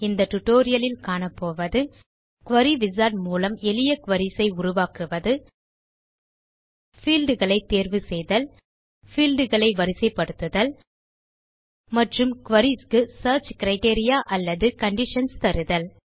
இந்த டியூட்டோரியல் லில் காணபோவது குரி விசார்ட் மூலம் எளிய குரீஸ் உருவாக்குவது பீல்ட் களை தேர்வு செய்தல் பீல்ட் களை வரிசைப்படுத்துதல் மற்றும் குரீஸ் க்கு சியர்ச் கிரைட்டீரியா அல்லது கண்டிஷன்ஸ் தருதல்